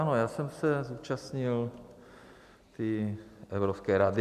Ano, já jsem se zúčastnil i Evropské rady.